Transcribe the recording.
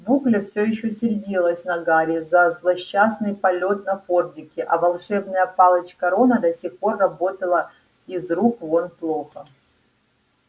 букля все ещё сердилась на гарри за злосчастный полет на фордике а волшебная палочка рона до сих пор работала из рук вон плохо